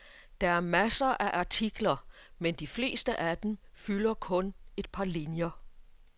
Der er masser af artikler, men de fleste af dem fylder kun et par linjer.